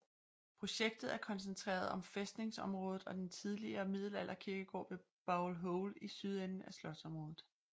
Projektet er koncentreret om fæstningsområdet og den tidligere middelalder kirkegård ved Bowl Hole i sydenden af slotsområdet